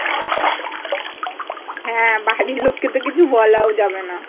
হ্যাঁ বাড়ির লোক কে তো কিছু বলাও যাবেনা।